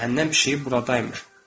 Cəhənnəm pişiyi buradaymış.